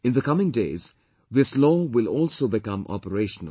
In the coming days, this law will also become operational